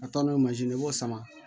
A taa n'o ye ye i b'o sama